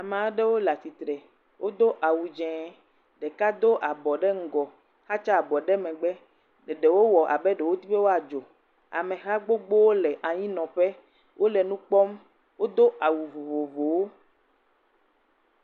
Amaɖewo le atitre, wo do awu dzeŋ, ɖeka do abɔ ɖe ŋgɔ, xatsa abɔ ɖe megbe, eɖewo wɔ abe ɖowo di be woa dzo, ameha gbogbo le anyi nɔƒe, ole nu kpɔm, odo awu vovovowo.